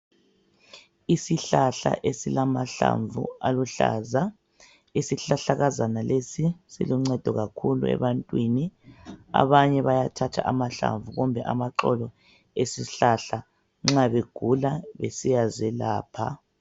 Isihlahla esilamahlamvu aluhlaza, isihlahlakazana lesi siluncedo kakhulu ebantwini, abanye bayathatha amahlamvu kumbe amaxolo esihlahla nxa begula besiya zelapha.